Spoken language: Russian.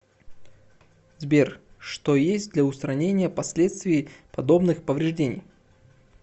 сбер что есть для устранения последствий подобных повреждений